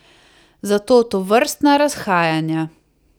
Zato tovrstna razhajanja.